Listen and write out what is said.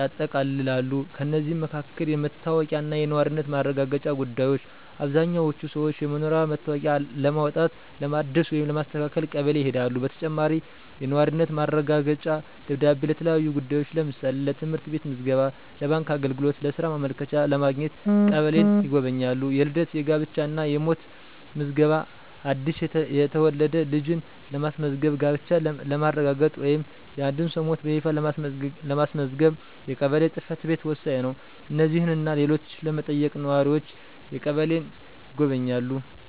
ያጠቃልላሉ። ከእነዚህም መካከል: * የመታወቂያ እና የነዋሪነት ማረጋገጫ ጉዳዮች: አብዛኛዎቹ ሰዎች የመኖሪያ መታወቂያ ለማውጣት፣ ለማደስ ወይም ለማስተካከል ቀበሌ ይሄዳሉ። በተጨማሪም፣ የነዋሪነት ማረጋገጫ ደብዳቤ ለተለያዩ ጉዳዮች (ለምሳሌ: ለትምህርት ቤት ምዝገባ፣ ለባንክ አገልግሎት፣ ለሥራ ማመልከቻ) ለማግኘት ቀበሌን ይጎበኛሉ። * የልደት፣ የጋብቻ እና የሞት ምዝገባ: አዲስ የተወለደ ልጅን ለማስመዝገብ፣ ጋብቻን ለማረጋገጥ ወይም የአንድን ሰው ሞት በይፋ ለማስመዝገብ የቀበሌ ጽ/ቤት ወሳኝ ነው። እነዚህንና ሌሎችን ለመጠየቅ ነዋሪዎች ቀበሌን ይጎበኛሉ።